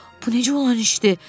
Bu necə olan işdir?